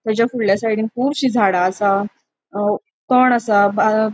तचा फूडल्या साइडीन कूबशी झाड़ा असा अ तण असा ब --